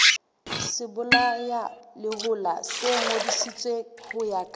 sebolayalehola se ngodisitswe ho ka